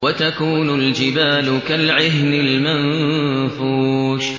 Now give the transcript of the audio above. وَتَكُونُ الْجِبَالُ كَالْعِهْنِ الْمَنفُوشِ